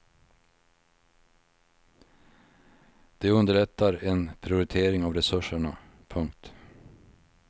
Det underlättar en prioritering av resurserna. punkt